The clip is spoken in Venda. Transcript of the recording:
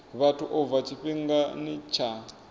vhathu u bva tshifhingani tsha